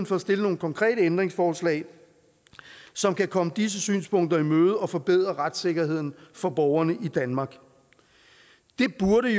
for at stille nogle konkrete ændringsforslag som kan komme disse synspunkter i møde og forbedre retssikkerheden for borgerne i danmark det burde